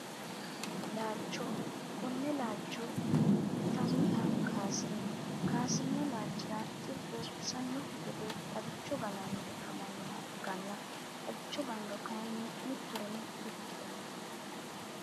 Laalcho kone laalcho intaniha kasire kaasirino laalachira xibbu kisanoki gedde xagichcho ganani afamanoha ikana xagicho ganiro kayiini mitoreno di ikitano.